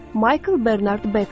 Maykıl Bernard Bekvit.